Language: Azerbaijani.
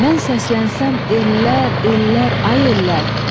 Mən səslənsəm ellər, ellər, ay ellər!